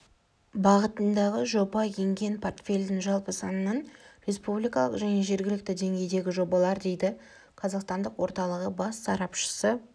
бағытындағы жоба енген портфельдің жалпы санының республикалық және жергілікті деңгейдегі жобалар дейді қазақстандық орталығы бас сарапшысы